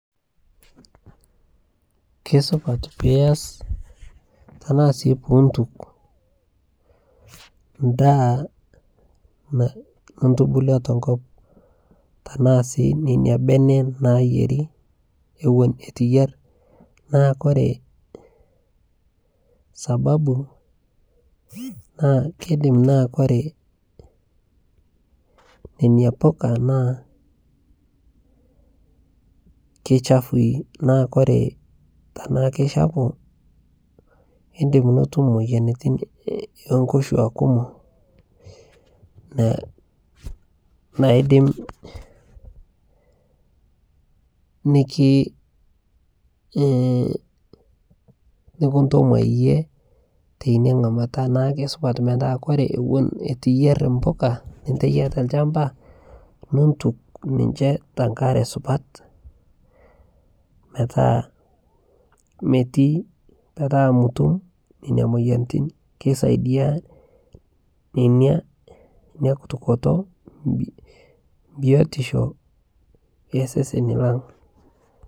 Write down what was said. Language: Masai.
keisupat piyas tanaa sii piintuk ndaa nintubulua tenkop tanaa sii nenia benee nayerii ewon etuu iyer. naa kore sababu naa keidim naa kore nenia pukaa naa keichafui naa kore tanaa keichapuu indim nutum moyanitin enkoshua kumoo naidim nikintomwai yie teinia nghamataa naaku keisupat metaa kore ewon etuu iyer mpuka nintaiyaa te lshampaa nintuk ninshee tankaree supat metaa metiii petaa mutum nenia moyanitin keisaidia nenia inia kutukotoo biotishoo ee sesenii lang.